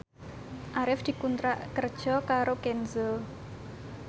Arif dikontrak kerja karo Kenzo